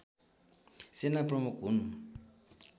सेना प्रमुख हुन्